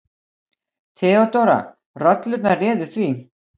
THEODÓRA: Rollurnar réðu því.